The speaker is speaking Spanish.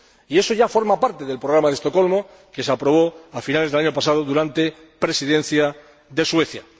Y eso ya forma parte del Programa de Estocolmo que se aprobó a finales del año pasado durante la Presidencia sueca.